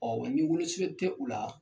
Ɔn wa ni wolosɛbɛn tɛ u la